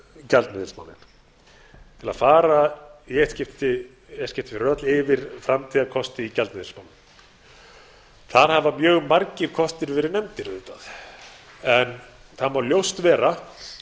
gjaldmiðilsmálin til að fara í eitt skipti fyrir öll yfir framtíðarkosti í gjaldeyrismálum þar hafa auðvitað mjög margir kostir verið nefndir en það má ljóst vera